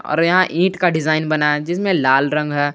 और यहां ईंट का डिजाइन बना है जिसमें लाल रंग है।